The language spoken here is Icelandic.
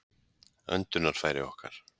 öndunarfæri okkar